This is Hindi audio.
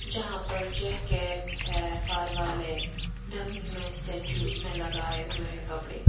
जहां पर जैकेट्स है फार वाले डमी में स्टैचू में लगाए हुए हैं कपड़े--